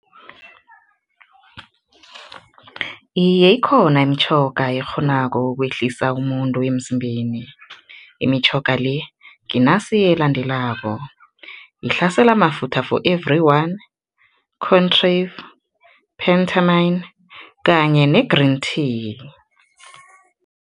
Iye, ikhona imitjhoga ekghonako ukwehlisa umuntu emzimbeni. Imitjhoga le, nginasi elandelako, yihlasela amafutha for everyone, contrave, penthermine kanye ne-green tea.